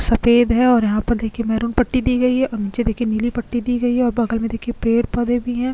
सफेद है और यहां पर देखी मरून पट्टी दी गई है आगे देखिये नीली पट्टी दी गई है और बगल में पेड़ पौधे भी है।